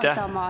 Aitäh!